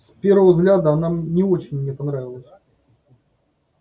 с первого взгляда она не очень мне понравилась